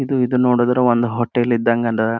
ಇದು ಇದು ನೊಡಿದ್ರೇ ಒಂದ್ ಹೋಟೆಲ್ ಇದ್ದಂಗ ಅದ.